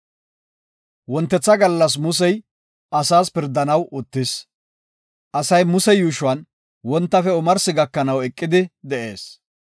Wontetha gallas Musey asaas pirdanaw uttis. Asay Muse yuushuwan wontafe omarsi gakanaw eqidi de7ees.